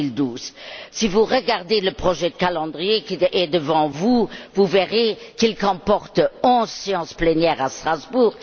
2012. Si vous regardez le projet de calendrier, qui est devant vous, vous verrez qu'il comporte onze plénières à Strasbourg.